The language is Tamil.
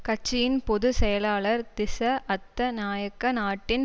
கட்சியின் பொது செயலாளர் திஸ்ஸ அத்தநாயக்க நாட்டின்